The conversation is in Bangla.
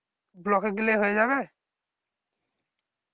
block এ গেলে হয়ে যাবে